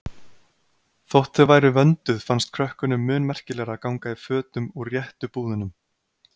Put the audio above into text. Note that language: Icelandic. Þótt þau væru vönduð fannst krökkunum mun merkilegra að ganga í fötum úr réttu búðunum.